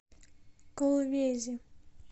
колвези